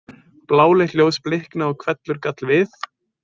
Bláleitt ljós blikaði og hvellur gall við.